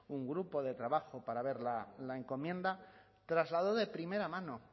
un grupo de trabajo para ver la encomienda trasladó de primera mano